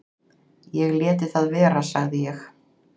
"""Ég léti það vera, sagði ég."""